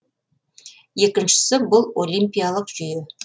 екіншісі бұл олимпиялық жүйе